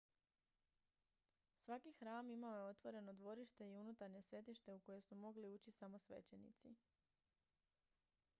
svaki hram imao je otvoreno dvorište i unutarnje svetište u koje su mogli ući samo svećenici